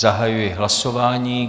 Zahajuji hlasování.